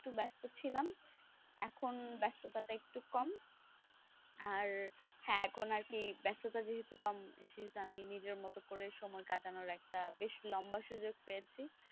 একটু ব্যস্ত ছিলাম এখন ব্যস্ততা টা একটু কম আর এখন আর কি ব্যস্ততা যেহেতু কম সেহেতু আমি নিজের মতো করে সময় কাটানোর একটা বেস লম্বা সুযোগ পেয়েছি,